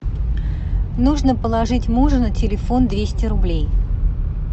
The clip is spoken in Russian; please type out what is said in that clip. нужно положить мужу на телефон двести рублей